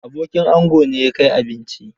Abokin ango ne ya kai abinci.